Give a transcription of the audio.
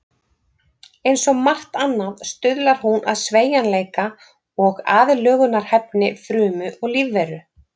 Eins og margt annað stuðlar hún að sveigjanleika og aðlögunarhæfni frumu og lífveru.